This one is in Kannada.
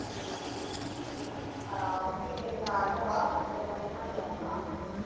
Okay ಅಹ್ okay ಮೇಘನಾ ಅಣ್ಣ call ಮಾಡ್ತಿದಾನೆ ಮತ್ತೆ ಮಾಡ್ಲಾ ನಾನು.